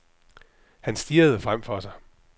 Han stirrede frem for sig.